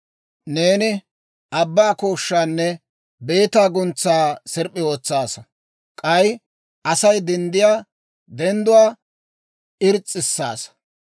Neeni abbaa kooshshaanne, beetaa guntsaa sirp'p'i ootsaasa; k'ay Asay denddiyaa dendduwaa irs's'issaasa.